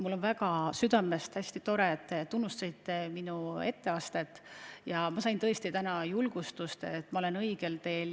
Mul on südamest hästi hea meel, et te tunnustasite minu etteastet ja ma sain tõesti täna julgustust, et ma olen õigel teel.